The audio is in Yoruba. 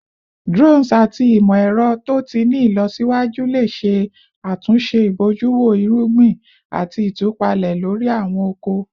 Drones ati imọ-ẹrọ to ti ni ilọsiwaju le ṣe atunṣe ibojuwo irugbin ati itupalẹ lori awọn oko